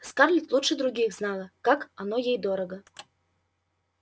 скарлетт лучше других знала как оно ей дорого